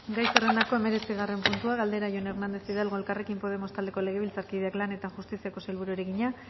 gai zerrendako hemeretzigarren puntua galdera jon hernández hidalgo elkarrekin podemos taldeko legebiltzarkideak lan eta justiziako sailburuari egina